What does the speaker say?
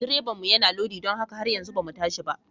Direbanmu yana lodi don haka har yanzu ba mu tashi ba.